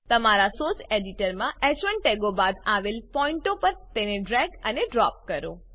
તમારા સોર્સ એડિટરમાં હ1 ટેગો બાદ આવેલ પોઈન્ટો પર તેને ડ્રેગ અને ડ્રોપ કરો